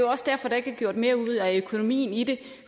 også derfor der ikke er gjort mere ud af økonomien i det